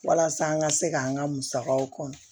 Walasa an ka se k'an ka musakaw kɔnɔ